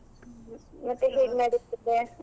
ಮತ್ತೆ ಹೇಗ್ ನಡಿತಿದೆ?